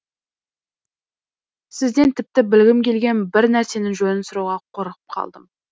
сізден тіпті білгім келген бір нәрсенің жөнін сұрауға қорқып қалдым